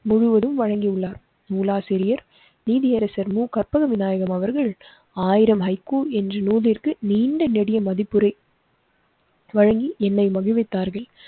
முழுவதும் வழங்கியுள்ளார். நூலாசிரியர் நீதியரசர் மு. கற்பக விநாயகம் அவர்கள் ஆயிரம் ஹைக்கூ என்று நூலிற்க்கு நீண்ட நெடிய மதிப்புரை. வழங்கி என்னை மகிழ்வித்தார்கள்.